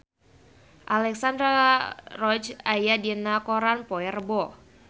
Alexandra Roach aya dina koran poe Rebo